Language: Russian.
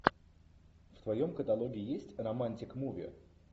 в твоем каталоге есть романтик муви